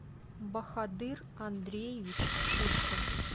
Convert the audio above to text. бахадыр андреевич шишкин